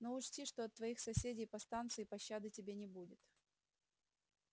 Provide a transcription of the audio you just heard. но учти что от твоих соседей по станции пощады тебе не будет